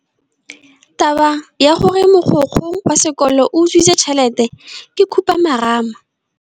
Taba ya gore mogokgo wa sekolo o utswitse tšhelete ke khupamarama.